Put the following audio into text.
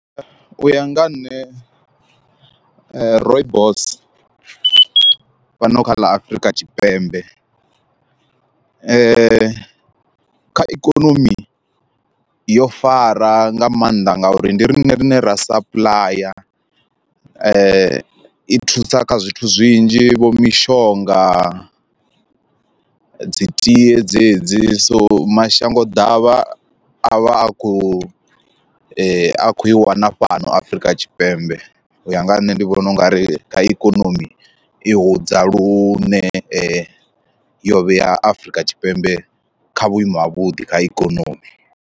U ya nga ha nṋe rooibos fhano kha ḽa Afrika Tshipembe kha ikonomi yo fara nga maanḓa ngauri ndi riṋe rine ra sapuḽaya, i thusa kha zwithu zwinzhi vho mishonga, dzi tie dzedzi so mashango ḓavha a vha a khou i a kho i wana fhano Afrika Tshipembe u ya nga ha nṋe ndi vhona ungari kha ikonomi i hudza lune yo vhea Afrika Tshipembe kha vhuimo ha vhuḓi kha ikonomi.